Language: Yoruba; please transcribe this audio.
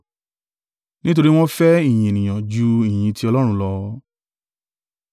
nítorí wọ́n fẹ́ ìyìn ènìyàn ju ìyìn ti Ọlọ́run lọ.